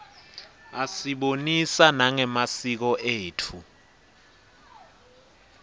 asibonisa nangemasiko etfu